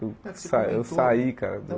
Eu sa eu saí, cara.